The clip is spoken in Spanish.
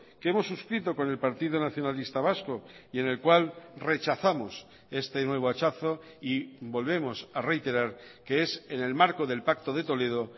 que hemos suscrito con el partido nacionalista vasco y en el cual rechazamos este nuevo hachazo y volvemos a reiterar que es en el marco del pacto de toledo